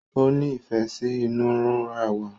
òní ìfé sí inura wá.